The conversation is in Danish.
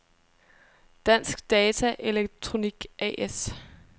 Dansk Data Elektronik A/S